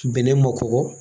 Bɛnɛ ma kɔkɔ